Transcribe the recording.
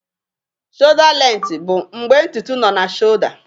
Shọda lenti bụ mgbe ntutu nọ na Shọda.